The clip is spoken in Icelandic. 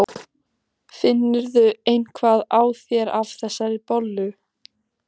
Finnurðu eitthvað á þér af þessari bollu?